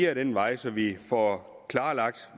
ad den vej så vi får klarlagt